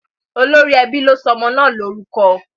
Olórí ẹbí ló sọ ọmọ náà lórúkọ?